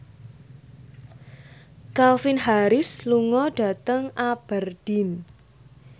Calvin Harris lunga dhateng Aberdeen